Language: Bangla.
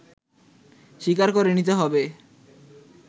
স্বীকার করে নিতে হবে